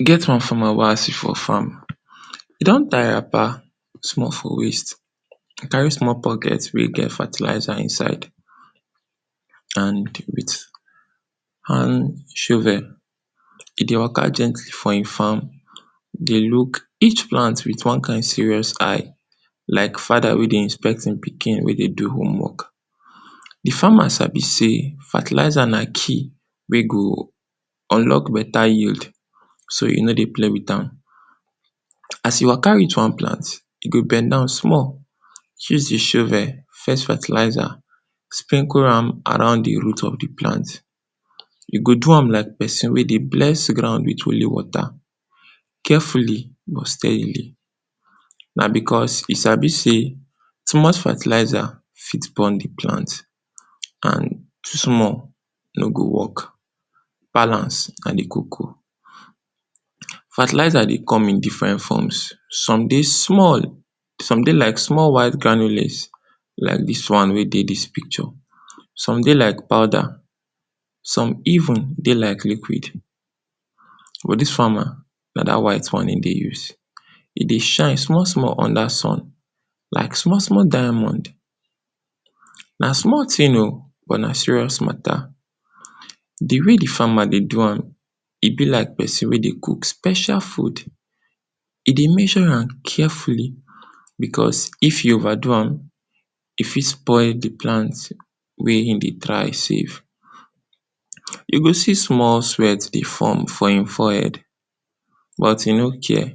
E get one farmer wey I see for farm, e don tie wrapper small for waist, e carry small bucket wey get fertilizer inside and wit hand shovel, e dey waka gently for e far, e dey look each plant wit one kind serious eye, like fada wey dey inspect e pikin wey dey do homework. Di farmer sabi sey fertilizer na key wey go unlock beta yield so e no dey play wit am. As e waka reach one plant, e go bend down small, use e shovel fetch fertilizer, sprinkle am around di root of di plant, e go do am like person wey dey bless ground wit holy water, carefully but steadily. Na because e sabi sey, too much fertilizer fit burn di plant and too small no go work, balance na di koko. Fertilizer dey come in differen forms, some dey small, some dey like small white granules like dis one wey dey dis picture, some dey like powder, some even dey like liquid, but dis farmer na dat white one e dey use. E dey shine small small under sun like small small diamond. Na small tin o but na serious mata, di way di farmer dey do am e be like person wey dey cook special food, e dey measure am carefully because if e over do am e fit spoil di plant wey e dey try save. You go see small sweat dey form for e forehead, but e no care,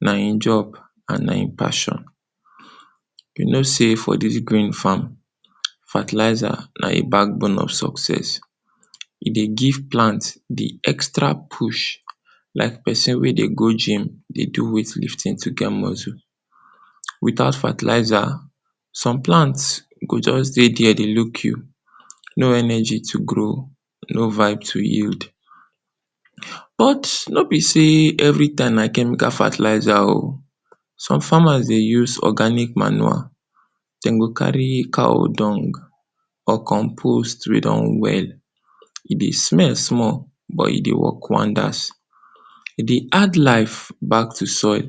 na e job and na e passion. You know sey for dis green farm, fertilizer na e backbone of success, e dey give plant di extra push like person wey dey go gym dey do weight lifting to get muscle. Without fertilizer, some plant go just dey deir dey look you, no energy to grow, no vibe to yield. But no be sey every time na chemical fertilizer o, some farmers dey use organic manure, den go carry cow dung or composed wey don well, e dey smell small but e dey work wonders, e dey add life back to soil,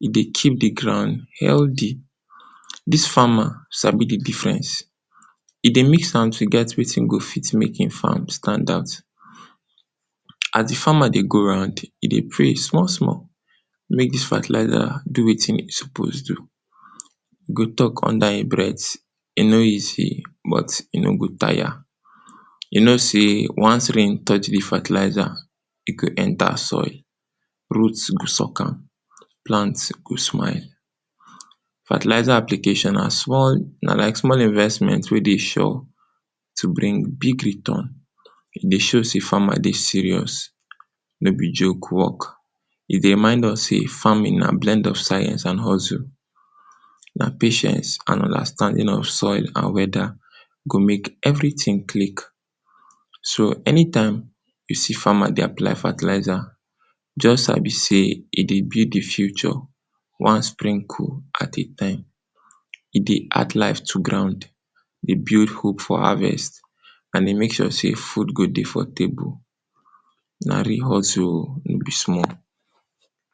e dey keep di ground healdi. Dis farmer sabi di difference, e dey mix am to get wetin go fit mek e farm stand out. As di farmer dey go round, e dey pray small small, mek dis fertilizer do wetin e suppose do, e go talk under e breat, e no easy but e no go tire. You know sey, once rain touch di fertilizer, e go enter soil, root go suck am, plant go smile. Fertilizer application na small, na like small investment wey dey sure to bring big return, e dey show sey farmer dey serious, no be joke work, e dey remind us sey farming na blend of science and hustle, na patience and understanding of soil and weada go make everytin click. So, anytime you see farmer dey apply fertilizer, just sabi sey e dey build di future one sprinkle at a time, e dey add life to ground, dey build hope for harvest and dey make sure sey food go dey for table. Na real hustle o, no be small.